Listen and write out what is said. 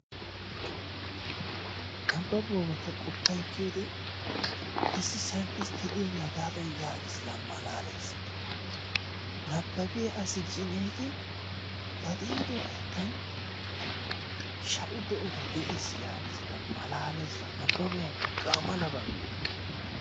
Nabbabuwabaa ta qoppa ekkiyode issi saynttistte diyagee hagaadan yaagiis. Laa malaaleesikka! Nabbabiya asi ee gin ba diido layttan sha'u de'ota de'ees yaagees. Nabbaboy hagaadan malaaliyaba.